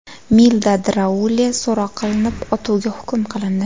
Milda Draule so‘roq qilinib, otuvga hukm qilindi.